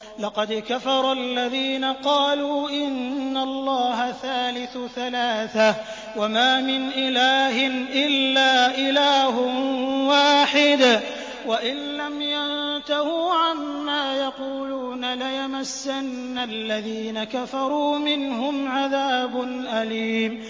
لَّقَدْ كَفَرَ الَّذِينَ قَالُوا إِنَّ اللَّهَ ثَالِثُ ثَلَاثَةٍ ۘ وَمَا مِنْ إِلَٰهٍ إِلَّا إِلَٰهٌ وَاحِدٌ ۚ وَإِن لَّمْ يَنتَهُوا عَمَّا يَقُولُونَ لَيَمَسَّنَّ الَّذِينَ كَفَرُوا مِنْهُمْ عَذَابٌ أَلِيمٌ